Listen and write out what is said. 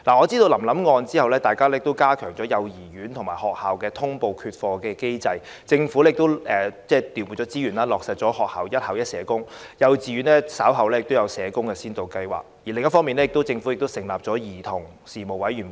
在臨臨案件之後，我知道加強了幼兒園及學校的通報缺課機制，政府亦調撥資源，在學校落實了"一校一社工"，稍後亦會推行幼稚園社工服務先導計劃，另一方面，政府亦成立了兒童事務委員會。